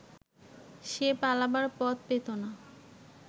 সে পালাবার পথ পেত না